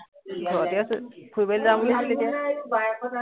ঘৰতে আছো, ফুৰিবলে যাম বুলি ভাবিছিলো এতিয়া